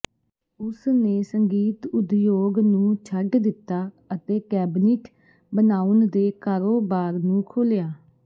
ਉਸਨੇ ਸੰਗੀਤ ਉਦਯੋਗ ਨੂੰ ਛੱਡ ਦਿੱਤਾ ਅਤੇ ਕੈਬਨਿਟ ਬਣਾਉਣ ਦੇ ਕਾਰੋਬਾਰ ਨੂੰ ਖੋਲ੍ਹਿਆ